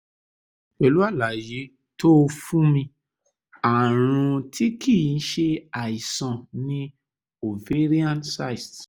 pẹ̀lú àlàyé tó o fún mi ààrùn tí kìí ṣe àìsàn ni ovarian cyst